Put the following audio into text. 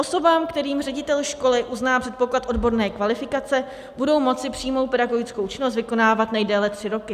Osoby, kterým ředitel školy uzná předpoklad odborné kvalifikace, budou moci přímou pedagogickou činnost vykonávat nejdéle tři roky.